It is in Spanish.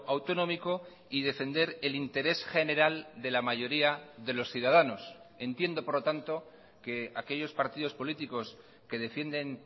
autonómico y defender el interés general de la mayoría de los ciudadanos entiendo por lo tanto que aquellos partidos políticos que defienden